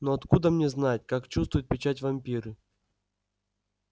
но откуда мне знать как чувствуют печать вампиры